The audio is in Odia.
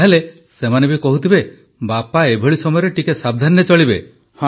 ତା ହେଲେ ସେମାନେ ବି କହୁଥିବେ ବାପା ଏଭଳି ସମୟରେ ଟିକିଏ ସାବଧାନରେ ଚଳିବେ